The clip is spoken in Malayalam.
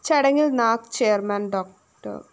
ചടങ്ങില്‍ നാക് ചെയർമാൻ ഡോ